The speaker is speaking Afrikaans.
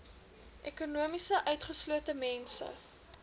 ekonomies utgeslote mense